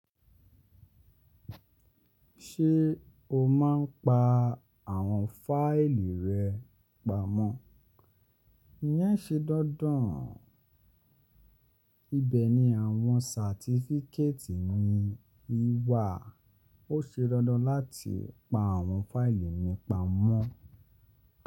Ṣé o máa ń pa àwọn fáìlì rẹ pamọ́? Iyẹn ṣe dandan. Ibẹ̀ ni àwọn sàtifiketì mi ìwà. Ó ṣe dandan láti pa àwọn fáìlì mi pamọ́.